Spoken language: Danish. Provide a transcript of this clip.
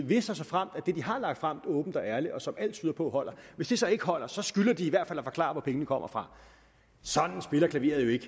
hvis og såfremt det de har lagt frem åbent og ærligt og som alt tyder på holder så så ikke holder så skylder de i hvert fald at forklare hvor pengene så kommer fra sådan spiller klaveret jo ikke